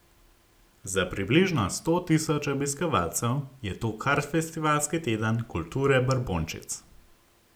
Za približno sto tisoč obiskovalcev je to kar festivalski teden kulture brbončic.